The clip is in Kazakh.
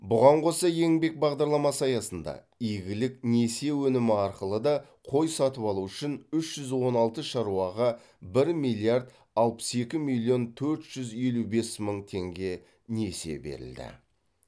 бұған қоса еңбек бағдарламасы аясында игілік несие өнімі арқылы да қой сатып алу үшін үш жүз он алты шаруаға бір миллиард алпыс екі миллион төрт жүз елу бес мың теңге несие берілді